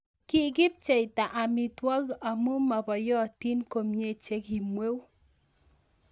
Kikipcheita amitwogik amun mabayotin komyee chekimweu